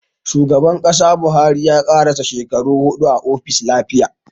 Shugaban Kasa Buhari ya karasa shekaru huɗu a ofis lafiya